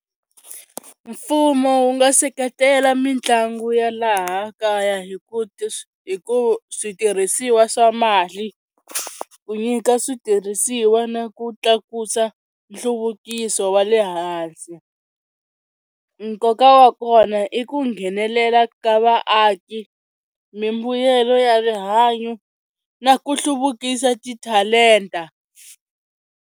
Mfumo wu nga seketela mitlangu ya laha kaya hi ku hi ku switirhisiwa swa mali ku nyika switirhisiwa na ku tlakusa nhluvukiso wa le hansi, nkoka wa kona i ku nghenelela ka vaaki mimbuyelo ya rihanyo na ku hluvukisa ti-talent-a.